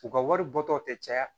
U ka wari bɔtɔ tɛ caya